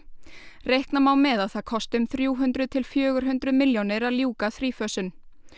reikna má með að það kosti um þrjú hundruð til fjögur hundruð milljónir að ljúka þrífösun